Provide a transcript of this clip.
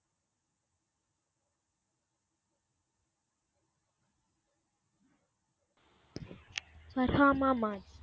பர்ஹாம